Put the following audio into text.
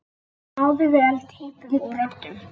Náði vel týpum og röddum.